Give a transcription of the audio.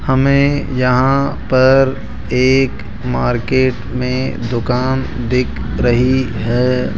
हमें यहां पर एक मार्केट में दुकान दिख रही है।